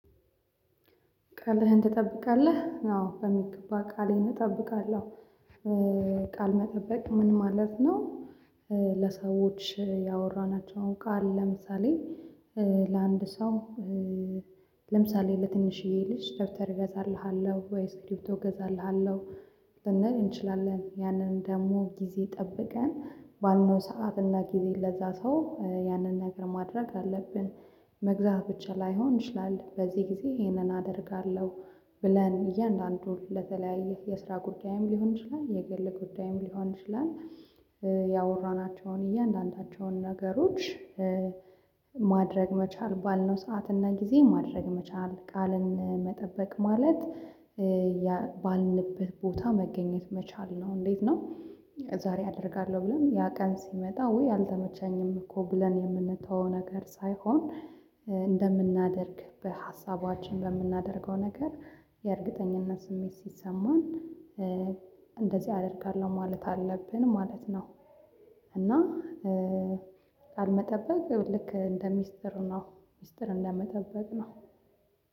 "ቃልህን ትጠብቃለህ?" አዎ በሚገባ ቃሌን እጠብቃለሁ። ቃል መጠበቅ ምን ማለት ነው? ለሰዎች ያወራናቸውን ቃል ለምሳሌ ለአንድ ሰው ለምሳሌ ለትንሽዬ ልጅ ደብተር እገዛልሃለሁ ወይ ስክሪፕቶ እገዛልሃለሁ ልንል እንችላለን። ያንን ደግሞ ጊዜ ጠብቀን ባልነው ሰዓት እና ጊዜ ለዛ ሰው ያንን ነገር ማድረግ አለብን። መግዛት ብቻ ላይሆን ይችላለ በዚህ ጊዜ ይሄንን አደርጋለሁ ብለን እያንዳንዱን ለተለያየ የስራ ጉዳይም ሊሆን ይችላል የግል ጉዳይም ሊሆን ይችላል ያወራናቸውን እያንዳንዳቸውን ነገሮች ማድረግ መቻል ባልነው ሰዓትና ጊዜ ማድረግ መቻል ቃልን መጠበቅ ማለት ባልንበት ቦታ መገኘት መቻል ነው እንዴት ነው ዛሬ አደርጋለሁ ብለን ያ ቀን ሲመጣ ወይ አልተመቸኝምኮ ብለን የምንተወው ነገር ሳይሆን፤ እንደምናደርግ በሀሳባችን በምናደርገው ነገር የእርግጠኝነት ስሜት ሲሰማን እንደዚህ አደርጋለሁ ማለት አለብን ማለት ነው። እና ቃል መጠበቅ ልክ እንደ ሚስጥር ነው ሚስጥር እንደመጠበቅ ነው።